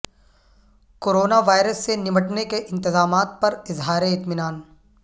corona virus سے نمٹنے کے انتظامات پر اظہار اطمینان